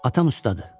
Atam ustadır.